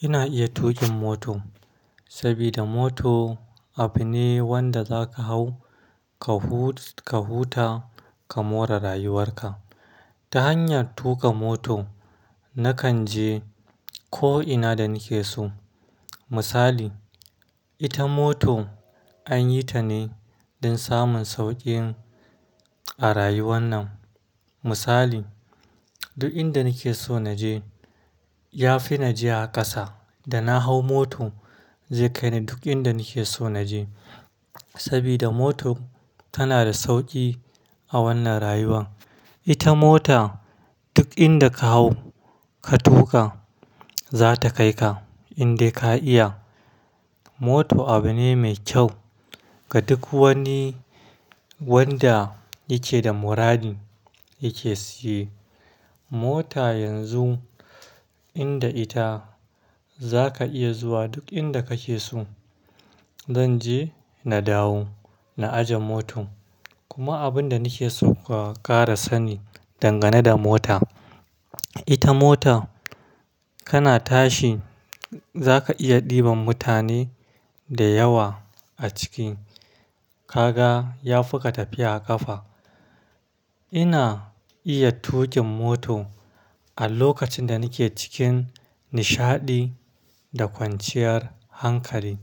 Ina iya tuƙin mota saboda moto abu ne wanda za ka hau, ka huta ka more rayuwarka. Ta hanyar tuƙa moto na kan je ko'ina da nake so. Misali, ita moto an yi ta ne don samun sauƙi a rayuwan nan. Misali, duk inda nake so na je ya fi na je a ƙasa. Da na hau moto zai kai ni duk inda nake so naje. Saboda moto tana da sauƙi a wannan rayuwan. Ita mota duk inda ka hau ka tuƙa za ta kai ka in dai ka iya. Moto abu ne mai kyau ga duk wani wanda yake da muradi yake siye. Mota yanzu inda ita za ka iya zuwa duk inda kake so. Zan je na dawo na aje motan. Kuma abin da nake so ku kara sani dangane da moto, ita moto kana tashi za ka iya ɗiban mutane da yawa a ciki. Ka ga ya fi ka tafiya a ƙafa. Ina iya tuƙin moto a lokacin da nake cikin nishaɗi da kwanciyar hankali.